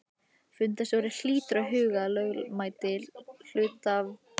Fundarstjóri hlýtur að huga að lögmæti hluthafafundarins í upphafi.